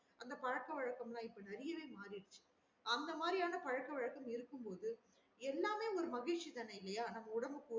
அந்த பழக்க வழக்கம் எல்லாம் இப்ப நெறையாவே மாறிருச்சு அந்த மாறியான பழக்க வழக்கம் இருக்கும் போது எல்லாமே மகிழ்ச்சி தானா இல்லையா